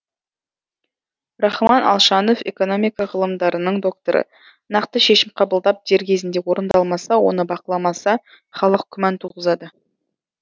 рахман алшанов экономика ғылымдарының докторы нақты шешім қабылдап дер кезінде орындалмаса оны бақыламаса халық күмән туғызады